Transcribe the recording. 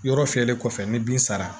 Yɔrɔ fiyɛli kɔfɛ ni bin sara